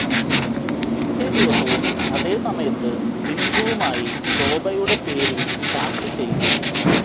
പിറ്റേ ദിവസവും അതേ സമയത്തു് ഇന്ദുവുമായി ശോഭയുടെ പേരിൽ ചാറ്റ് ചെതു